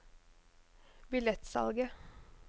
billettsalget